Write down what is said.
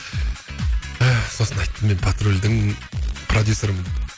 ыыы сосын айттым мен патрульдің продюссерімін